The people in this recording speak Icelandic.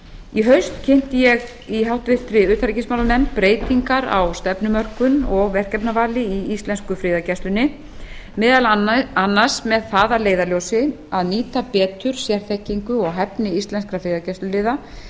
í haust kynnti ég í háttvirtri utanríkismálanefnd breytingar á stefnumörkun og verkefnavali í íslensku friðargæslunni meðal annars með það að leiðarljósi að nýta betur sérþekkingu og hæfni íslenskra friðargæsluliða